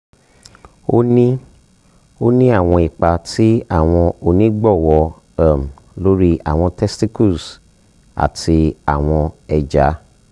o ni o ni awọn ipa ti awọn onigbọwọ um lori awọn testicles ati awọn eja